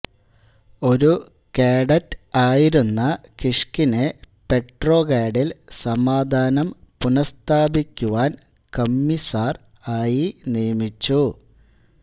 ഒരു കാഡറ്റ് ആയിരുന്ന കിഷ്കിനെ പെട്രോഗാഡിൽ സമാധാനം പുനഃസ്ഥാപിക്കുവാൻ കമ്മിസാർ ആയി നിയമിച്ചു